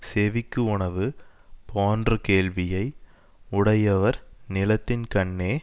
செவிக்கு உணவு போன்ற கேள்வியை யுடையவர் நிலத்தின் கண்ணே